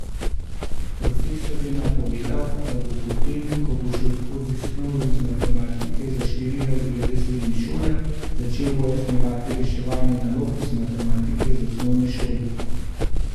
Profesor je napovedal, da bo potem, ko bo šel skozi snov iz matematike za štiri razrede srednje šole, začel pojasnjevati reševanje nalog iz matematike za osnovne šole.